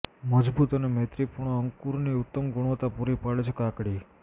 મજબૂત અને મૈત્રીપૂર્ણ અંકુરની ઉત્તમ ગુણવત્તા પૂરી પાડે છે કાકડી